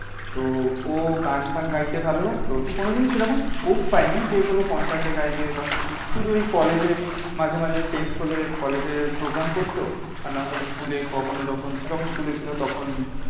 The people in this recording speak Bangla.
তো ও গান ফান গাইতে ভালোবাসতো তো কোনো দিন সেরকম scope পাইনি যে কোনো concert এ গাইবে বা কিছু শুধু এই কলেজে মাঝে মাঝে fest হলে কলেজে program করতো আর নাহলে স্কুলে কখনো যখন যখন স্কুলে ছিল তখন